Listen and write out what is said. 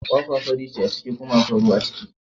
Kwakwa fari ce a ciki kuma akwai ruwa a ciki.